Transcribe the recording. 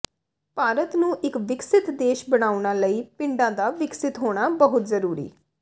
ਭਾਰਤ ਨੂੰ ਇੱਕ ਵਿਕਸਿਤ ਦੇਸ਼ ਬਣਾਉਣਾ ਲਈ ਪਿੰਡਾਂ ਦਾ ਵਿਕਸਿਤ ਹੋਣਾ ਬਹੁਤ ਜ਼ਰੂਰੀ